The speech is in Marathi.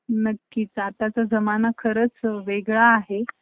जर मुलींना job